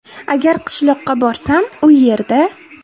Agar qishloqqa borsam u yerda.